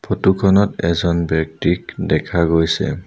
Photo খনত এজন ব্যক্তিক দেখা গৈছে।